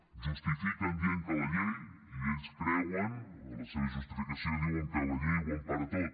ho justifiquen dient que la llei i ells creuen en la seva justificació la llei ho empara tot